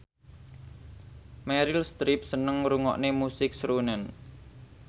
Meryl Streep seneng ngrungokne musik srunen